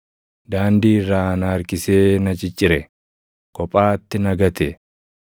daandii irraa na harkisee na ciccire; kophaatti na gate.